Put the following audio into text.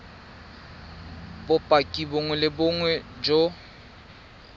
bopaki bongwe le bongwe jo